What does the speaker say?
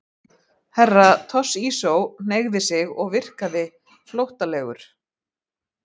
Herra Toshizo hneigði sig og virkaði flóttalegur.